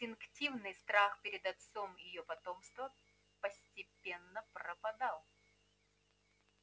инстинктивный страх перед отцом её потомства постепенно пропадал